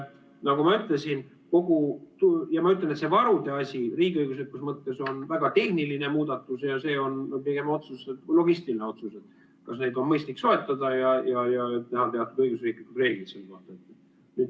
Nagu ma ütlesin, see varude asi riigiõiguslikus mõttes on väga tehniline muudatus ja see on pigem logistiline otsus, kas neid on mõistlik soetada, ja teha teatud õiguslikud reeglid.